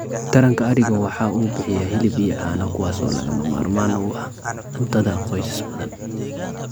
Taranka arigu waxa uu bixiyaa hilib iyo caano kuwaas oo lagama maarmaan u ah cuntada qoysas badan.